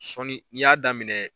Sɔɔni n'i y'a daminɛ